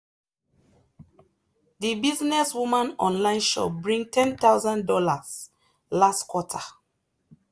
the businesswoman online shop bring one thousand dollars0 last quarter.